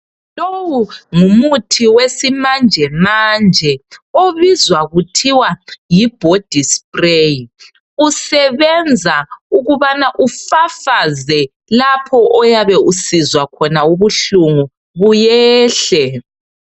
Lowu ngumuthi wesimanje manje obizwa kuthiwa yi "body spray" usebenza ukubana ufafaze lapho oyabe usizwa khona ubuhlungu buyehle.